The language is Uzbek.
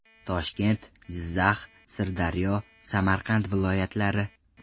Toshkent, Jizzax, Sirdaryo, Samarqand viloyatlari.